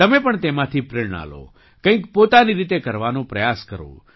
તમે પણ તેમાંથી પ્રેરણા લો કંઈક પોતાની રીતે કરવાનો પ્રયાસ કરો